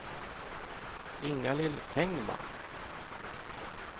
Inga-Lill Engman